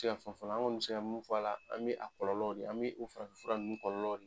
Ti se ka fɛn fɔ a la, an kɔni mi se ka min fɔ a la, an mi a kɔlɔlɔ de ye, an mi o farafinfura ninnu kɔlɔlɔ de ye.